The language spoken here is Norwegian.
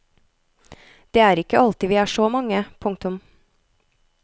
Det er ikke alltid vi er så mange. punktum